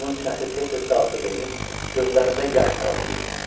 Onun sinəsi tez-tez qalxıb enir, gözlərində yaş pırıldayırdı.